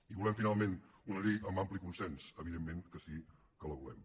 i volem finalment una llei amb ampli consens evidentment que sí que la volem